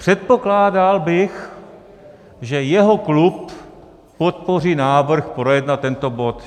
Předpokládal bych, že jeho klub podpoří návrh projednat tento bod.